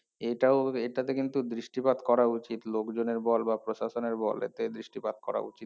এটাও এটাতে কিন্তু দৃষ্টিপাত করা উচিত লোকজনের বল বা প্রশাসনের বল এতে দৃষ্টিপাত করা উচিত